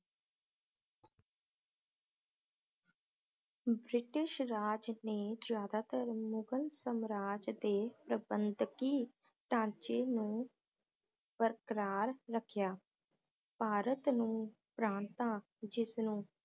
British Raj ਨੇ ਜ਼ਿਆਦਾਤਰ ਮੁਗਲ ਸਾਮਰਾਜ ਦੇ ਸੰਬੰਧਕੀ ਢਾਂਚੇ ਨੂੰ ਬਰਕਰਾਰ ਰੱਖਿਆ ਭਾਰਤ ਨੂੰ ਪ੍ਰਾਂਤਾਂ ਜਿਸਨੂੰ